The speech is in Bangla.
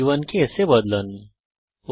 c 1 কে s এ পরিবর্তন করুন